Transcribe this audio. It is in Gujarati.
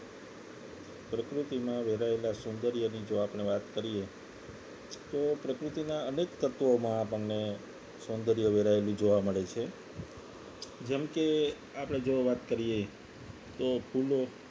પ્રકૃતિમાં વેરાયેલા સૌંદર્યની જો આપણે વાત કરીએ તો પ્રકૃતિના અનેક તત્વોમાં આપણને સૌંદર્ય વેરાયેલી જોવા મળે છે જેમ કે આપણે જો વાત કરીએ તો ફૂલો